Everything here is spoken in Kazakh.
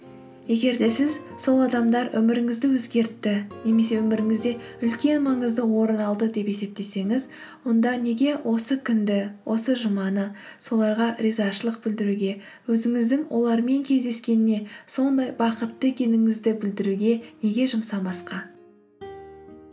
егер де сіз сол адамдар өміріңізді өзгертті немесе өміріңізде үлкен маңызды орын алды деп есептесеңіз онда неге осы күнді осы жұманы соларға ризашылық білдіруге өзіңіздің олармен кездескеніне сондай бақытты екеніңізді білдіруге неге жұмсамасқа